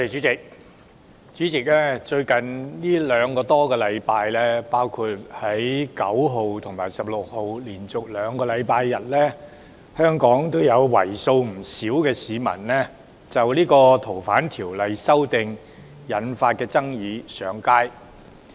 主席，在最近兩個多星期，包括本月9日和16日連續兩個周日，香港有為數不少的市民就《逃犯條例》修訂引發的爭議上街。